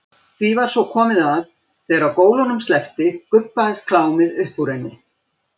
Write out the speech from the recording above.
Því var svo komið að þegar gólunum sleppti gubbaðist klámið upp úr henni.